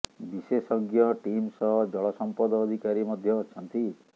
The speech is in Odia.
ବିଶେଷଜ୍ଞ ଟିମ ସହ ଜଳ ସଂପଦ ଅଧିକାରୀ ମଧ୍ୟ ଅଛନ୍ତି